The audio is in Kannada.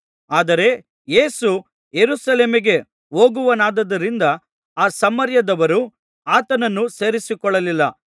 ಆದರೆ ಯೇಸು ಯೆರೂಸಲೇಮಿಗೆ ಹೋಗುವವನಾದ್ದರಿಂದ ಆ ಸಮಾರ್ಯದವರು ಆತನನ್ನು ಸೇರಿಸಿಕೊಳ್ಳಲಿಲ್ಲ